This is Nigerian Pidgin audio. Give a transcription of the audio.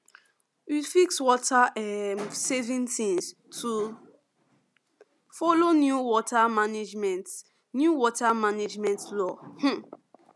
we fix water um saving things to follow new water management new water management law um